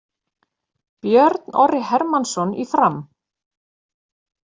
Björn Orri Hermannsson í Fram